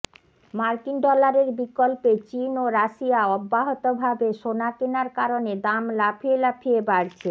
মার্কিন ডলারের বিকল্পে চীন ও রাশিয়া অব্যাহত ভাবে সোনা কেনার কারণে দাম লাফিয়ে লাফিয়ে বাড়ছে